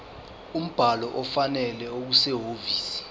umbhalo ofanele okusehhovisi